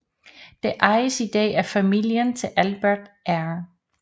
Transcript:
Det ejes i dag af familien til Albert R